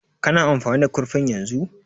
Ka na amfani da kurfin yanzu?